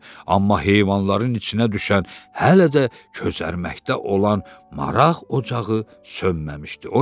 Amma heyvanların içinə düşən hələ də közərməkdə olan maraq ocağı sönməmişdi.